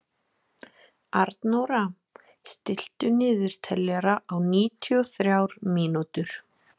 Arnóra, stilltu niðurteljara á níutíu og þrjár mínútur.